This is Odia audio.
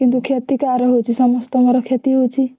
କିନ୍ତୁ କ୍ଷତି କାହାର ହଉଛି ସମସ୍ତଙ୍କର କ୍ଷତି ହଉଛି।